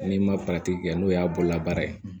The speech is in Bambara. N'i ma kɛ n'o y'a bolola baara ye